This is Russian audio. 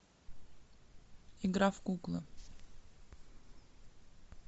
игра в куклы